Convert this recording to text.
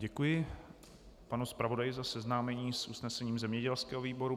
Děkuji panu zpravodaji za seznámení s usnesením zemědělského výboru.